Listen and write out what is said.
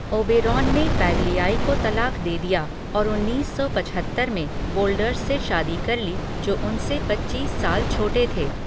Oberon ने पैगलियाई को तलाक दे दिया और उन्नीस सौ पचहत्तर में वोल्डर्स से शादी कर ली, जो उनसे पचीस साल छोटे थे।